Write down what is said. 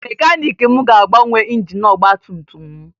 Mekaniiki m ga-agbanwe injin ọgbatumtum m